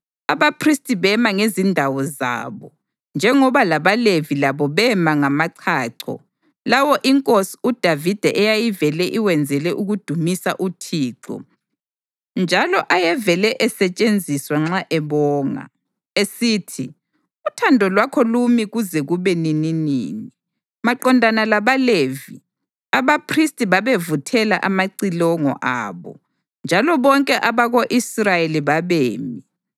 Abaphristi bema ngezindawo zabo, njengoba labaLevi labo bema ngamachacho lawo inkosi uDavida eyayivele iwenzele ukudumisa uThixo njalo ayevele esetshenziswa nxa ebonga, esithi, “Uthando lwakhe lumi kuze kube nininini.” Maqondana labaLevi, abaphristi babevuthela amacilongo abo, njalo bonke abako-Israyeli babemi.